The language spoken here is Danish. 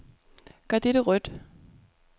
Gør dette rødt.